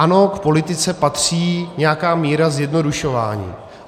Ano, k politice patří nějaká míra zjednodušování.